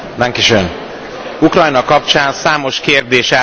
Ukrajna kapcsán számos kérdés eldöntetlen még.